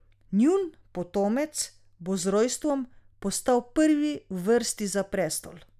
Njun potomec bo z rojstvom postal prvi v vrsti za prestol.